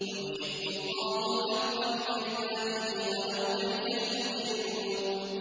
وَيُحِقُّ اللَّهُ الْحَقَّ بِكَلِمَاتِهِ وَلَوْ كَرِهَ الْمُجْرِمُونَ